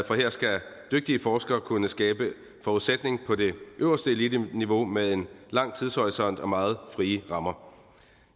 for her skal dygtige forskere kunne skabe forudsætning på det øverste eliteniveau med en lang tidshorisont og meget frie rammer